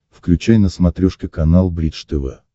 включай на смотрешке канал бридж тв